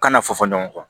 Kana fɔ fɔ ɲɔgɔn kɔ